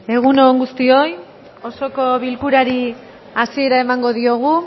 egun on guztioi osoko bilkurari hasiera emango diogu